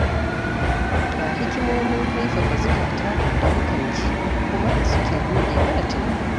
Ga hikimomin kaifafa zukata da mukan ji kuma suke buɗe mana tunani.